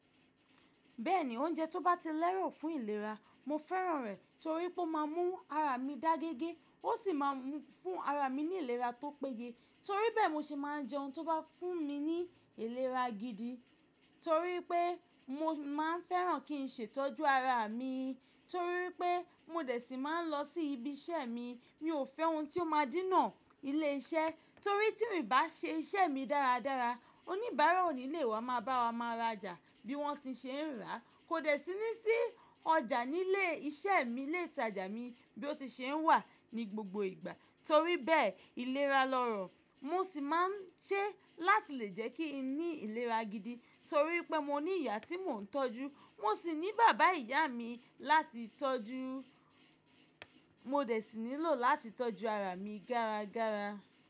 Bẹ́ẹ̀ni, oúnjẹ tó bá ti lẹ́rọ̀ fún ìlera, mo fẹ́ràn rẹ̀ torí pé ó má a mú ara mi dá géégé, ó sì má a fún ara mi ní ìlera tó péye. Torí bẹ́ẹ̀, mo sì má a jẹ́ oun tí ó bá fún mi ní ìlera gidi torí pé, mo má a fẹ́ràn kí n ṣètọ́jú ara mi. Torí pé mo dẹ̀ sí máa n lọ sí ibi iṣẹ́ mi, mi ò fẹ́ oun tí ó máa dínà ilé iṣẹ́ torí tí n ò bá ṣe iṣẹ́ mi dáradára, oníbàárà ò ní lè wá máa bá wa máa rajà bí wọ́n ti ṣe ń ràá. Kò dẹ̀ sí ní sí ọjà nílé iṣẹ́ mi, ilé ìtajà mi bí ó ti ṣe ń wà ní gbogbo ìgbà. Torí bẹ́ẹ̀, ìlera lọ́rọ̀ mo sì má a ń ṣe láti lè jẹ́ kí n ní ìlera gidi torí pé mo ní ìyá tí mò ń tọ́jú, mo sì ní bàbá ìyá mi láti tọ́jú, mo dẹ̀ sì nílò láti tọ́jú ara mi dáradára.